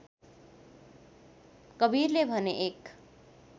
कवीरले भने एक